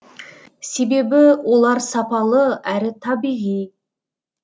себебі олар сапалы әрі табиғи